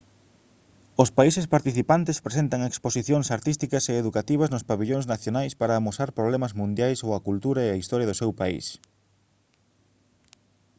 os países participantes presentan exposicións artísticas e educativas nos pavillóns nacionais para amosar problemas mundiais ou a cultura e historia do seu país